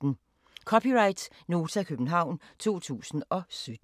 (c) Nota, København 2017